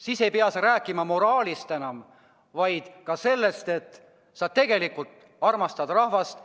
Siis ei pea sa enam moraalist rääkima, vaid ka näitad, et sa tegelikult armastad rahvast.